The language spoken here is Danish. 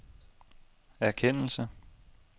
erkendelse